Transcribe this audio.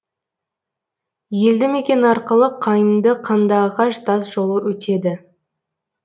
елді мекен арқылы қайыңды қандыағаш тас жолы өтеді